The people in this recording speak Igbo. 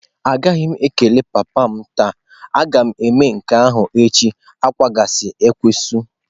Anaghị m ekele papa m taa, a ga m eme nke ahụ echi n'akwụsịghị akwụsị.